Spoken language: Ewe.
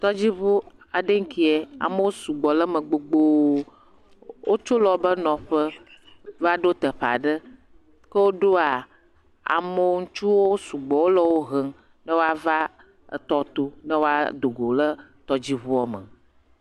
Tɔdziŋu aɖe nkie, amewo sugbɔ le me gbogboo, wotso le wobe nɔƒe va ɖo teƒe aɖe, ke woɖoa ame, ŋutsuwo le sugbɔ le wo he ne woava etɔ to ne woado go le etɔdziŋuɔ me.